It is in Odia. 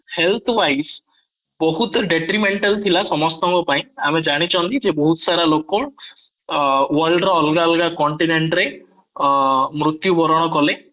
healthwise ବହୁତ detrimental ଥିଲା ସମସ୍ତଙ୍କ ପାଇଁ ଆମେ ଜାଣିଛୁ already କି ବହୁତ ସାରା ଲୋକ ଅଂ world ର ଅଲଗା ଅଲଗା continent ରେ ଅଂ ମୃତ୍ୟୁବରଣ କଲେ